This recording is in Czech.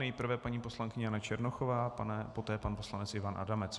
Nejprve paní poslankyně Jana Černochová, poté pan poslanec Ivan Adamec.